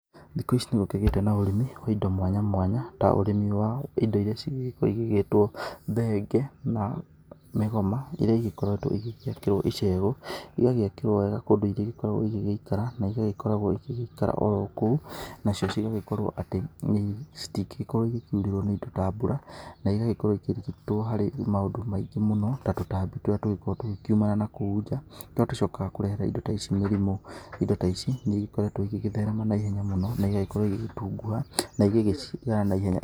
Thikũ ici nĩ gũkĩgĩte na ũrĩmĩ wa indo mwanya mwanya ta ũrĩmi wa indo irĩa cigũgĩkorwo cigĩtwo thenge na mĩgoma iria ikoretwo igĩakĩrwo icehũ, igagĩakĩrwo wega kũndũ ĩrĩkoragwo igĩgĩikara na igagĩkoragwo igĩgĩikara oro kũu nacio igagĩkorwo atĩ citingĩgĩkorwo ikĩurĩrwo nĩ indo ta mbura na igagĩkorwo ikĩrigitwo harĩ maũndũ maingĩ mũno ta tũtambi tũrĩa tũkoragwo tũkĩumana nakũu nja tũrĩa tũcokaga kũrehera indo ta ici mĩrimũ, indo ta ici nĩ igĩkoretwo igĩtherema naihenya mũno na igagĩkorwo igĩtunguha na igagiciara naihenya.